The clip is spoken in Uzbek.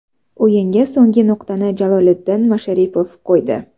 O‘yinga so‘nggi nuqtani Jaloliddin Masharipov qo‘ydi.